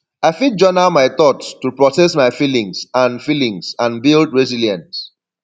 i fit journal my thoughts to process my feelings and feelings and build resilience